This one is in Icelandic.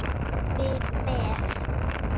Við með.